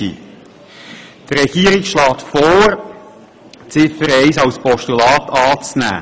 Die Regierung schlägt vor, Ziffer 1 als Postulat anzunehmen.